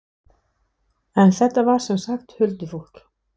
En þetta var sem sagt huldufólk.